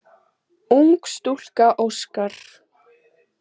Ung stúlka óskar.